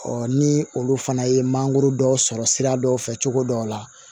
ni olu fana ye mangoro dɔ sɔrɔ sira dɔw fɛ cogo dɔw la